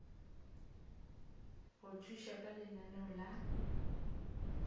go thuša ka lenaneo la